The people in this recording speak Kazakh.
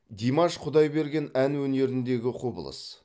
димаш құдайберген ән өнеріндегі құбылыс